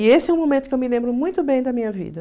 E esse é um momento que eu me lembro muito bem da minha vida.